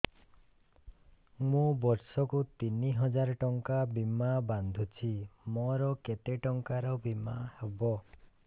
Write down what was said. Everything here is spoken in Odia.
ମୁ ବର୍ଷ କୁ ତିନି ହଜାର ଟଙ୍କା ବୀମା ବାନ୍ଧୁଛି ମୋର କେତେ ଟଙ୍କାର ବୀମା ହବ